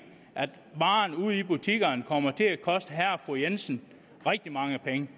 at varerne ude i butikkerne kommer til at koste herre og fru jensen rigtig mange penge